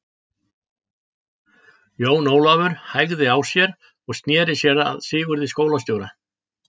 Jón Ólafur hægði á sér og sneri sér að Sigurði skólastjóra.